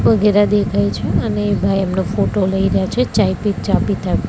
દેખાય છે અને એ ભાઈ એમનો ફોટો લઇ રહ્યા છે ચાય પી ચા પીતા--